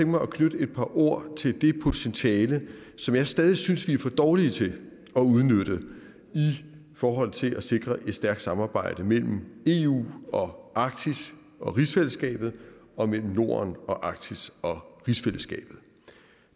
mig at knytte et par ord til det potentiale som jeg stadig synes vi er for dårlige til at udnytte i forhold til at sikre et stærkt samarbejde mellem eu og arktis og rigsfællesskabet og mellem norden og arktis og rigsfællesskabet